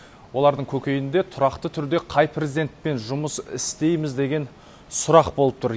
олардың көкейінде тұрақты түрде қай президентпен жұмыс істейміз деген сұрақ болып тұр